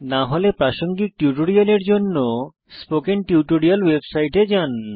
না হলে প্রাসঙ্গিক টিউটোরিয়ালের জন্য স্পোকেন টিউটোরিয়াল ওয়েবসাইটে যান